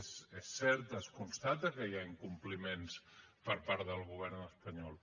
és cert es constata que hi ha incompliments per part del govern espanyol